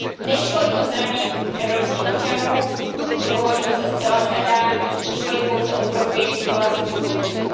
Nešlo jí o zdraví evropských občanů, to považuji za zcela skandální, šlo jí pouze o profit vlastních podniků.